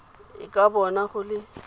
e ka bona go le